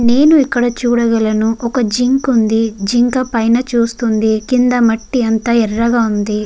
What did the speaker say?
నేన్ ఇక్కడ చూడగలును ఒక జింక వుంది జింక పైన చూస్తుంది కింద మట్టి అంతా ఎరగా ఉంది.